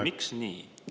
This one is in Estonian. Miks nii?